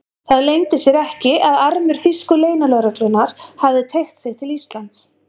Það leyndi sér ekki, að armur þýsku leynilögreglunnar hafði teygt sig til Íslands.